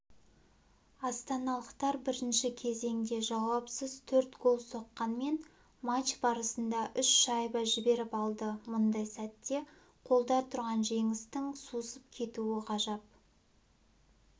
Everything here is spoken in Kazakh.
астаналықтар бірінші кезеңде жауапсыз төрт гол соққанмен матч барысында үш шайба жіберіп алды мұндай сәтте қолда тұрған жеңістің сусып кетуі ғажап